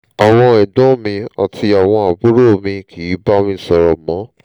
àwọn ẹ̀gbọ́n mi àti àwọn àbúrò mi kìí bá mi sọ̀rọ̀ mọ́